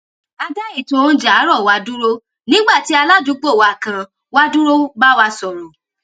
a dá ètò oúnjẹ àárọ wa dúró nígbà tí aládùúgbò wa kan wá dúró bá wa sọrọ